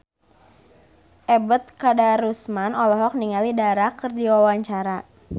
Ebet Kadarusman olohok ningali Dara keur diwawancara